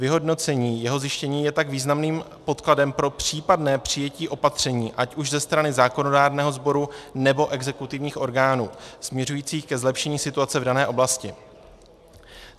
Vyhodnocení jeho zjištění je tak významným podkladem pro případné přijetí opatření, ať už ze strany zákonodárného sboru, nebo exekutivních orgánů, směřujících ke zlepšení situace v dané oblasti.